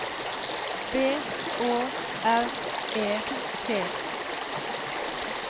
B Å R E T